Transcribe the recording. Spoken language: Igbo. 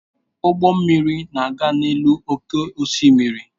Ụgbọ mmiri na-aga n'elu oké osimiri.